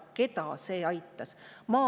Keda see aitas?